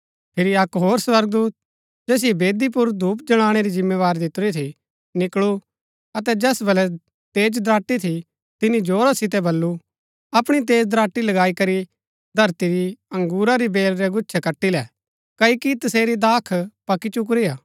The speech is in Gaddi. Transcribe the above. फिरी अक्क होर स्वर्गदूत जैसिओ वेदी पुर धूप जलाणै री जिम्मेवारी थी निकळू अतै जैस वलै तेज दराटी थी तिनी जोरा सितै बल्लू अपणी तेज दराटी लगाई करी धरती री अंगुरा री बेल रै गुच्छै कटी ले क्ओकि तसेरी दाख पकी चुकुरी हा